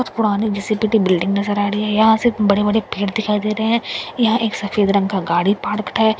कुछ पुरानी घिसी पिटी बिल्डिंग नजर आ रही है यहां सिर्फ बड़े-बड़े पेड़ दिखाई दे रहे हैं यहां एक सफेद रंग का गाड़ी पार्कड है यहां घास --